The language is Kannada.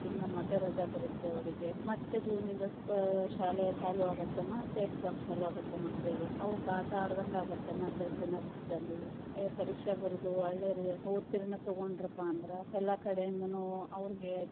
ತಿಂಗಳ ಮತ್ತ ರಜಾ ಬರತ್ತ ಅವ್ರಿಗೆ, ಮತ್ತ ಜೂನ್ಯಿಂದ ಆ school ಚಾಲು ಆಗತ್ತಾ ಮತ್ತ exam ಚಾಲು ಆಗತ್ತಾ ಮಕ್ಳಿಗೆ, ಅವುಕ ಆಟಾ ಆಡದಂಗ ಆಗತ್ತ ಮತ್ತ ಎರಡು ದಿನ ರಜದಲ್ಲಿ ಪರೀಕ್ಷೆ ಬರದು ಒಳ್ಳೇ ಉತ್ತೀರ್ಣ ತಗೊಂಡ್ರುಪಾ ಅಂದ್ರ ಎಲ್ಲಾ ಕಡೆ ಇಂದನು ಅವ್ರಿಗೆ.